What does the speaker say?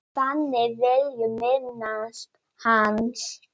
Ragnar Tómas Árnason